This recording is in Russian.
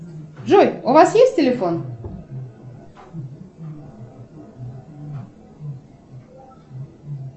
джой у вас есть телефон